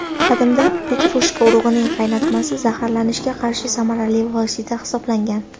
Qadimda petrushka urug‘ining qaynatmasi zaharlanishga qarshi samarali vosita hisoblangan.